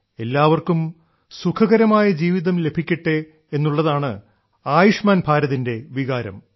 എല്ലാവർക്കും സുഖകരമായ ജീവിതം ലഭിക്കട്ടെ എന്നുള്ളതാണ് ആയുഷ്മാൻ ഭാരതിന്റെ വികാരം